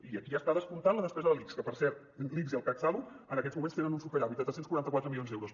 i aquí ja està descomptada la despesa de l’ics que per cert l’ics i el catsalut en aquests moments tenen un superàvit de tres cents i quaranta quatre milions d’euros